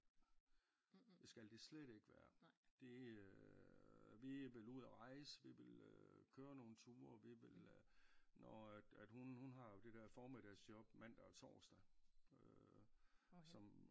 Det skal det slet ikke være det øh vi vil ud og rejse vi vil øh køre nogle ture vi vil øh når at at hun hun har jo det der formiddagsjob mandag og torsdag øh som